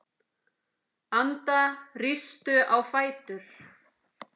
Anda, rístu á fætur.